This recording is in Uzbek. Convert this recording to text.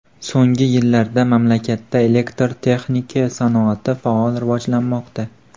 So‘nggi yillarda mamlakatda elektr texnika sanoati faol rivojlanmoqda.